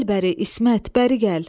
Gəl bəri, İsmət, bəri gəl.